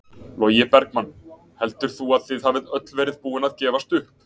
Logi Bergmann: Heldur þú að þið hafið öll verið búin að gefast upp?